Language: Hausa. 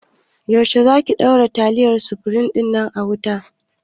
Yaushe za ki ɗora taliyar sufrim din a kan wuta?